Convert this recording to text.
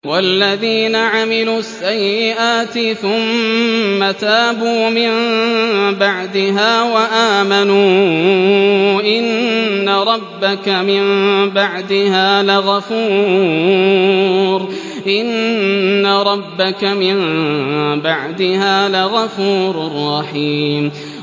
وَالَّذِينَ عَمِلُوا السَّيِّئَاتِ ثُمَّ تَابُوا مِن بَعْدِهَا وَآمَنُوا إِنَّ رَبَّكَ مِن بَعْدِهَا لَغَفُورٌ رَّحِيمٌ